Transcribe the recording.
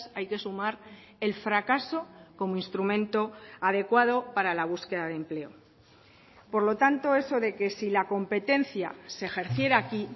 hay que sumar el fracaso como instrumento adecuado para la búsqueda de empleo por lo tanto eso de que si la competencia se ejerciera aquí